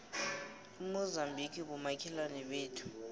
umozambique bomakhelwane bethu